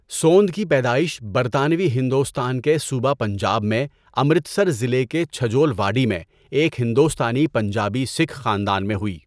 سَوند کی پیدائش برطانوی ہندوستان کے صوبہ پنجاب میں، امرتسر ضلع کے چھجول واڈی میں، ایک ہندوستانی پنجابی سکھ خاندان میں ہوئی۔